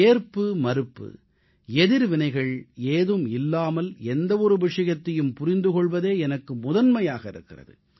ஏற்புமறுப்பு எதிர்வினைகள் ஏதும் இல்லாமல் எந்த ஒரு விஷயத்தையும் புரிந்து கொள்வதே எனக்கு முதன்மையாக இருக்கிறது